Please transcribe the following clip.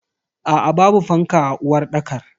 Aa babu fanka a uwarɗakar.